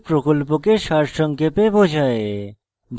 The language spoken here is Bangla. এটি প্রকল্পকে সারসংক্ষেপে বোঝায়